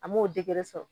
An m'o sɔrɔ